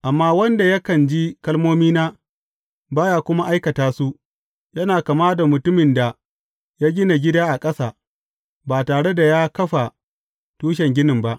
Amma wanda yakan ji kalmomina, ba ya kuma aikata su, yana kama da mutumin da ya gina gida a ƙasa, ba tare da ya kafa tushen gini ba.